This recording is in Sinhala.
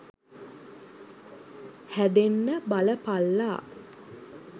හැදෙන්න බලපල්ලා.